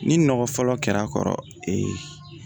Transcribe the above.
Ni nɔgɔ fɔlɔ kɛra a kɔrɔ